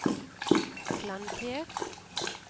flankert